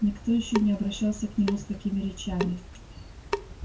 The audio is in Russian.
никто ещё не обращался к нему с такими речами